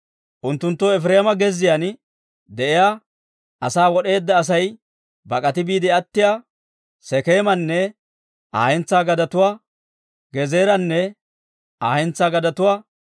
Unttunttoo Efireema gezziyaan de'iyaa, asaa wod'eedda Asay bak'ati biide attiyaa Sekeemanne Aa hentsaa gadetuwaa, Gezeeranne Aa hentsaa gadetuwaa,